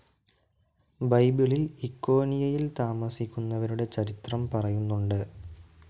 ബൈബിളിൽ ഇക്കോന്യയിൽ താമസിക്കുന്നവരുടെ ചരിത്രം പറയുന്നുണ്ട്.